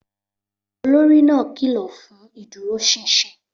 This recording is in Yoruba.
Olórí náà kìlọ̀ fún ìdúróṣinṣin